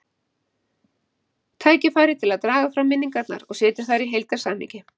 Tækifæri til að draga fram minningarnar og setja þær í heildarsamhengi.